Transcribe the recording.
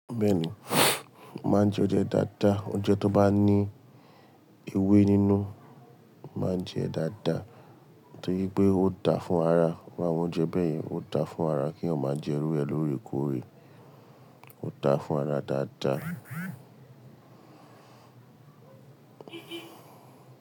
Bẹ́ẹ̀ni, mo máa ń jẹ oúnjẹ dáadáa. Oúnjẹ tó bá ní ewé nínú mo máa ń jẹ dáadáa torí pé ó dáa fún ara. Iru awọn oúnjẹ bẹ́ẹ̀ yẹn ó dáa fún ara kí eyan máa jẹ irú ẹ lórè kórè ó dáa fún ara dáadáa.